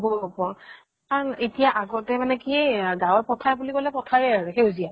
হʼব হʼব । কাৰণ এতিয়া আগতে মানে কি গাওঁ ৰ পথাৰ বুলি কʼলে, পথাৰে আৰু, সেউজীয়া ।